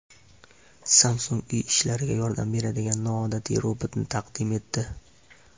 Samsung uy ishlariga yordam beradigan noodatiy robotni taqdim etdi.